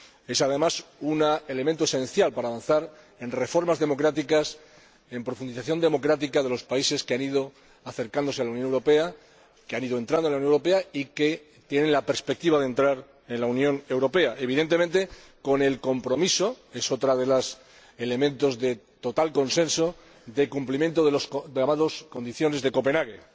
Es, además, un elemento esencial para avanzar en reformas democráticas, en la profundización democrática de los países que han ido acercándose a la Unión Europea, que han ido entrando en la Unión Europea o que tienen la perspectiva de entrar en la Unión Europea, evidentemente con el compromiso —es otro de los elementos de total consenso— de cumplimiento de las condiciones de Copenhague,